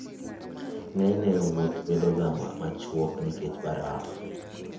Ng'enyne, wuoth bedoga machuok nikech baraf.